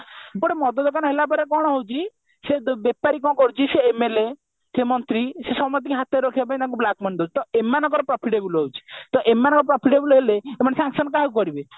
ଗୋଟେ ମଦ ଦୋକାନ ହେଲା ପରେ କଣ ହଉଛି ସେ ବେପାରୀ କଣ କରୁଛି ସେ MLA ସେ ମନ୍ତ୍ରୀ ସେ ସମସ୍ତିଙ୍କିହାତରେ ରଖିବା ପାଇଁ black money ଦଉଛି ତା ଏମାନଙ୍କର profitable ହଉଛି ତା ଏମାନଙ୍କର profitable ହେଲେ ସେମାନେ ସେ action କାହାକୁ କରିବେ